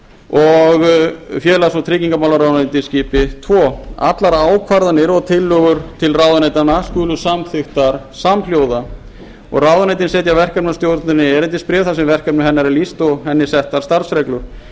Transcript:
og félags og tryggingamálaráðuneytisins skipi tvo allar ákvarðanir og tillögur til ráðuneytanna skulu samþykktar samhljóða ráðuneytin setja verkefnastjórninni erindisbréf þar sem verkefni hennar er lýst og henni settar starfsreglur